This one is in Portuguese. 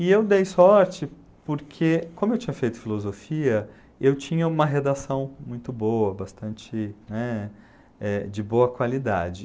E eu dei sorte porque, como eu tinha feito filosofia, eu tinha uma redação muito boa, bastante, né, eh, de boa qualidade.